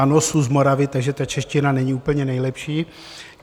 Ano, su z Moravy, takže ta čeština není úplně nejlepší.